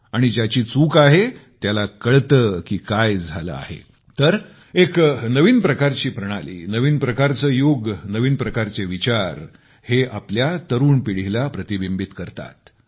आणि ज्याची चूक आहे त्याला कळते की काय झाले आहे तर एक नवीन प्रकारची प्रणाली नवीन प्रकारचे युग नवीन प्रकारचे विचार हे आपल्या तरुण पिढीला प्रतिबिंबित करतात